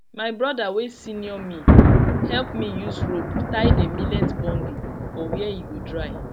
my broda wey senior me help me use rope tie the millet bundle for where e go dry